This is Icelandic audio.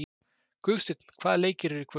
Guðsteinn, hvaða leikir eru í kvöld?